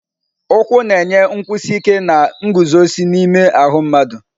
Ụkwụ na-enye nkwụsi ike na nguzozi n'ime ahụ mmadụ.